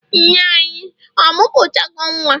nne-anyi, ọ muputago Nwa?